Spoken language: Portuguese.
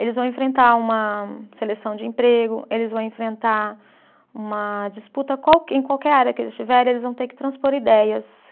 Eles vão enfrentar uma seleção de emprego, eles vão enfrentar uma disputa qualque, em qualquer área que eles estiverem, eles vão ter que transpor ideias.